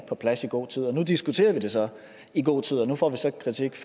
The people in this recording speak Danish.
på plads i god tid nu diskuterer vi det så i god tid og nu får vi så kritik